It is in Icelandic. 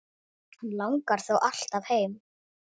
Hann langar þó alltaf heim.